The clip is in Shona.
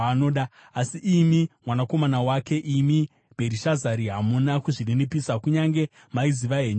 “Asi imi mwanakomana wake, imi Bherishazari, hamuna kuzvininipisa, kunyange maiziva henyu chinhu ichi.